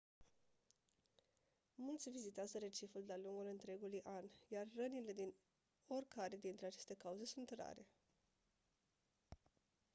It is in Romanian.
mulți vizitează reciful de-a lungul întregului an iar rănile din oricare dintre aceste cauze sunt rare